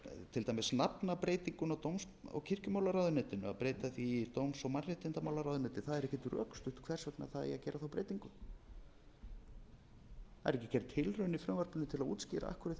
til dæmis nafnabreytinguna á dóms og kirkjumálaráðuneytinu að breyta því í dóms og mannréttindamálaráðuneyti það er ekkert rökstutt hvers vegna það eigi að gera þá breytingu það er ekki gerð tilraun í frumvarpinu til að útskýra af hverju